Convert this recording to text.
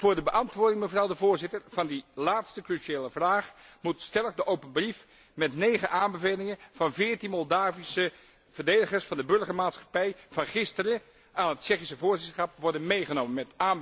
Voor de beantwoording, mevrouw de Voorzitter, van die laatste cruciale vraag moet stellig de open brief met negen aanbevelingen van veertien Moldavische verdedigers van de burgermaatschappij van gisteren aan het Tsjechische voorzitterschap worden meegenomen.